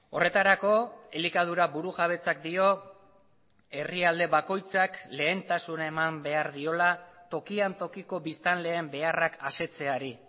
horretarako elikadura burujabetzak dio herrialde bakoitzak lehentasuna eman behar diola tokian tokiko biztanleen beharrak asetzeari